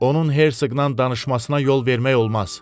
Onun Hersqlə danışmasına yol vermək olmaz.